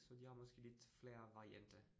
Så de har måske lidt flere varianter